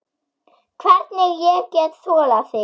Hvernig ég get þolað þig?